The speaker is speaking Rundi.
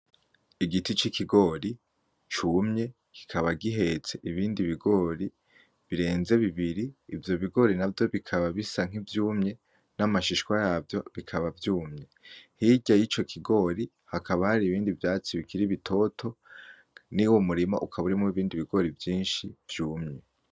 Igiti cikigori cumye kikaba gihetse ibindi bigori birenze bibiri Ivyo bigori navyo bikaba bisa nk'ivyumye n'amashishwa yavyo bikaba vyumye hirya yico kigori hakaba hari ibindi vyatsi bikiri bitoto nuwo murima ukaba urimwo ibindi bigori vyinshi vyumye.